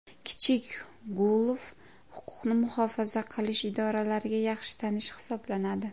Kichik Gulov huquqni muhofaza qilish idorlariga yaxshi tanish hisoblanadi.